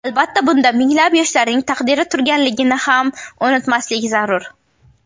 Albatta bunda, minglab yoshlarning taqdiri turganligini ham unutmaslik zarur.